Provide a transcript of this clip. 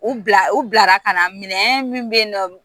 U bila u bilara ka na minɛn minnu bɛ yen nɔ